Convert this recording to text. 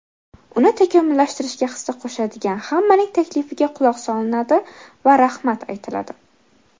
uni takomillashtirishga hissa qo‘shadigan hammaning taklifiga quloq solinadi va rahmat aytiladi.